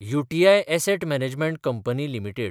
UTI asset management company limited